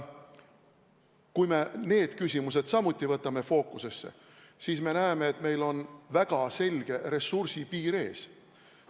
Kui me need küsimused samuti võtame fookusesse, siis me näeme, et meil on väga selge ressursipiir ees.